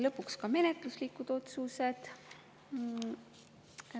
Lõpuks ka menetluslikud otsused.